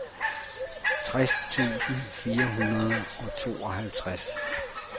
tres tusind fire hundrede og tooghalvtreds